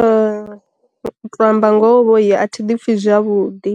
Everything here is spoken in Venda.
U tou amba ngoho vhoyi a thi pfi zwavhuḓi